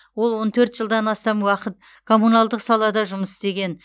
ол он төрт жылдан астам уақыт коммуналдық салада жұмыс істеген